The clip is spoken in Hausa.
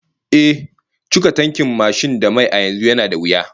Ehh, cika tankin mashin da mai a yanzu yana da wuya